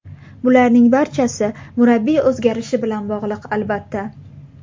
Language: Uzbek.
Bularning barchasi murabbiy o‘zgarishi bilan bog‘liq, albatta.